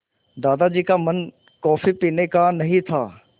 दादाजी का मन कॉफ़ी पीने का नहीं था